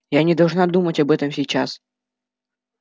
я не должна думать об этом сейчас